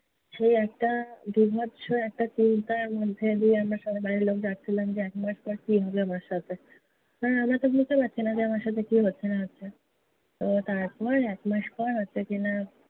সেই একটা বীভৎস একটা চিন্তার মধ্যে দিয়ে আমরা সবাই বাড়ির লোক যাচ্ছিলাম যে একমাস পরে কী হবে আমার সাথে। কারণ আমরা তো বুঝতে পারছিনা যে আমার সাথে কী হচ্ছে না হচ্ছে। তো তারপর একমাস পর হচ্ছে কি-না